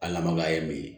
Al'an makan ye min ye